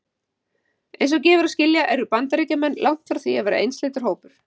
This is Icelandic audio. Eins og gefur að skilja eru Bandaríkjamenn langt frá því að vera einsleitur hópur.